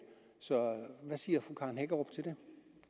så hvad siger fru karen hækkerup til det